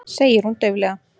segir hún dauflega.